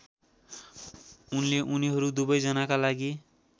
उनले उनीहरू दुवैजनाका लागि